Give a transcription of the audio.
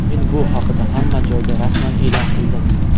Men bu haqida hamma joyda rasman e’lon qildim.